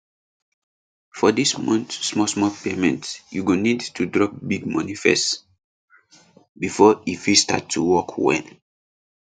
for dis month smallsmall payment you go need to drop big money first before e fit start to work well